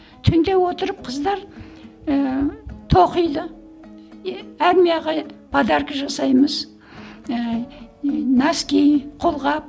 түнде отырып қыздар ііі тоқиды і армияға подарка жасаймыз ііі носки қолғап